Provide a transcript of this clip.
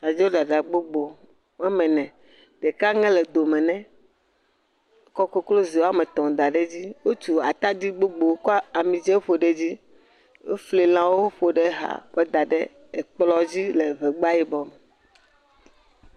Abladzo ɖaɖa gbogbo, woa me ene ɖeka ge le dome nɛ. Wo kɔ koklozi woame etɔ da edzi. Wotu ataɖi gbogbo kɔ ami dzɛ ƒo ɖe edzi. Wofli lãwo ƒo ɖe exa kɔ da ɖe ekplɔ dzi le ŋegba yibɔ me.